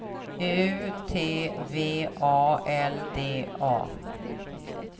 U T V A L D A